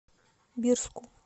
бирску